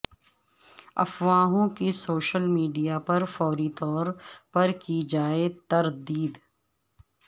افواہوں کی social media پر فوری طور پر کی جائے تردید